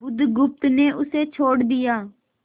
बुधगुप्त ने उसे छोड़ दिया